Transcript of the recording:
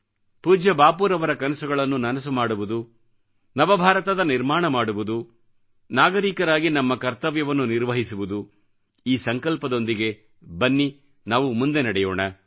ಪೂಜ್ಯ ಬಾಪೂರವರ ಕನಸುಗಳನ್ನು ನನಸು ಮಾಡುವುದು ನವ ಭಾರತದ ನಿರ್ಮಾಣ ಮಾಡುವುದುನಾಗರೀಕರಾಗಿ ನಮ್ಮ ಕರ್ತವ್ಯವನ್ನು ನಿರ್ವಹಿಸುವುದು ಈ ಸಂಕಲ್ಪದೊಂದಿಗೆ ಬನ್ನಿ ನಾವು ಮುಂದೆ ನಡೆಯೋಣ